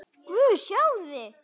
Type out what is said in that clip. Guð, sjáiði!